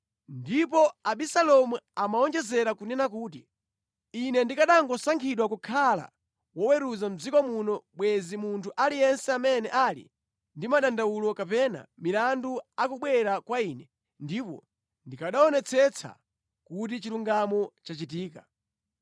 Ndipo Abisalomu amawonjezera kunena kuti, “Ine ndikanangosankhidwa kukhala woweruza mʼdziko muno bwenzi munthu aliyense amene ali ndi madandawulo kapena milandu akubwera kwa ine ndipo ndikanaonetsetsa kuti chilungamo chachitika.”